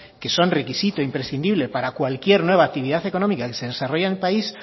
que son requisito imprescindible para cualquier nueva actividad económica que se desarrolla en el país